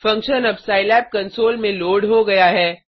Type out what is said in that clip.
function अब Scilab console में load हो गया है